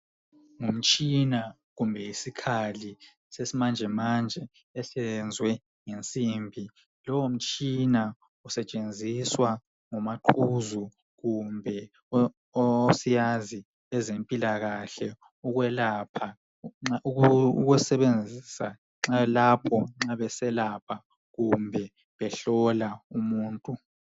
Ngumtshina kumbe isikhali sesimanjemanje esenzwe ngesimbi lowomtshina usetshenziswa ngomaqhuzu kumbe osiyazi wezempilakahle ukwelapha ukusebenzisa nxa lapho nxa beselapha kumbe behlola umuntu.